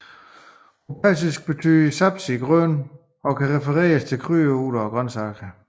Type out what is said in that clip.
På persisk betyder sabzi grøn og kan referere til krydderurter eller grøntsager